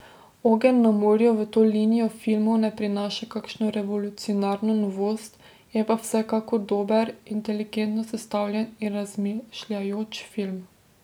Ogenj na morju v to linijo filmov ne prinaša kakšno revolucionarno novost, je pa vsekakor dober, inteligentno sestavljen in razmišljujoč film.